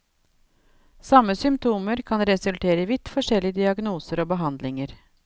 Samme symptomer kan resultere i vidt forskjellige diagnoser og behandlinger.